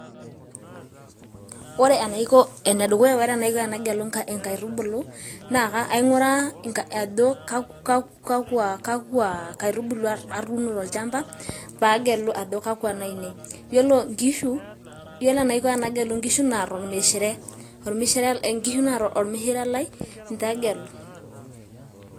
ore enaiko, ene dukuya, ore enaiko tenagelu inkaitubulu, naa king'uraa ajo kakua, kakua kaitubulu atuuno. tolchampa. pee agelu ajo kakua inaainei. ore enaiko tenagelu inkishu naa tolmishire, nkishu naata ormishire lai ninche agelu.